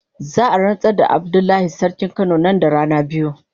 Za a ransar da Abdullahi sarkin kano nan da rana biyu.